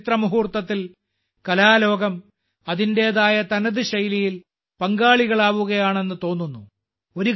ഈ ചരിത്രമുഹൂർത്തത്തിൽ കലാലോകം അതിന്റേതായ തനത് ശൈലിയിൽ പങ്കാളികളാകുകയാണെന്ന് തോന്നുന്നു